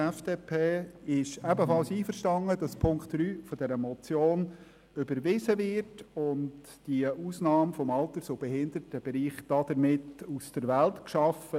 Die FDP ist ebenfalls einverstanden, Punkt 3 dieser Motion zu überweisen und damit die Ausnahme im Alters- und Behindertenbereich aus der Welt zu schaffen.